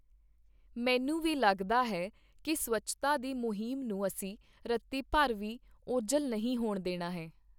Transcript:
ਮੈਨੂੰ ਵੀ ਲੱਗਦਾ ਹੈ ਕਿ ਸਵੱਛਤਾ ਦੀ ਮੁਹਿੰਮ ਨੂੰ ਅਸੀਂ ਰੱਤੀ ਭਰ ਵੀ ਓਝਲ ਨਹੀਂ ਹੋਣ ਦੇਣਾ ਹੈ।